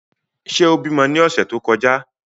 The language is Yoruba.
Ṣe o bimọ ni ọsẹ to kọja?